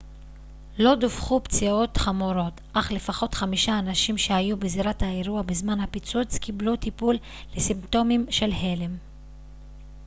לא דווחו פציעות חמורות אך לפחות חמישה אנשים שהיו בזירת האירוע בזמן הפיצוץ קיבלו טיפול לסימפטומים של הלם